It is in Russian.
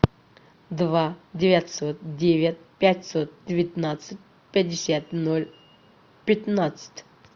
два девятьсот девять пятьсот девятнадцать пятьдесят ноль пятнадцать